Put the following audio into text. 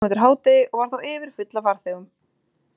Esjan kom eftir hádegið og var þá yfirfull af farþegum.